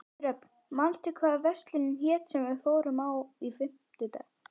Dröfn, manstu hvað verslunin hét sem við fórum í á fimmtudaginn?